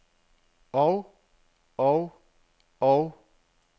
og og og